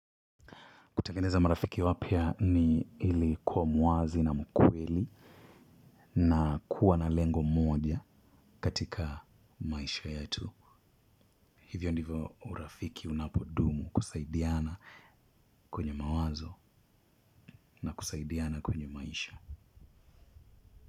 Kutengeneza marafiki wapya ni ili kuwa mwazi na mkweli na kuwa na lengo mmoja katika maisha yetu. Hivyo ndivyo urafiki unapodumu kusaidiana kwenye mawazo na kusaidiana kwenye maisha.